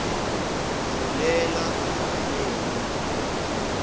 fulela wanethwa